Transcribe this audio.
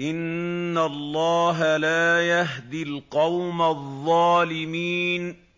إِنَّ اللَّهَ لَا يَهْدِي الْقَوْمَ الظَّالِمِينَ